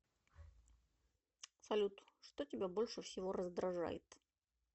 салют что тебя больше всего раздражает